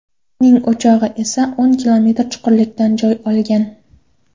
Uning o‘chog‘i esa o‘n kilometr chuqurlikdan joy olgan.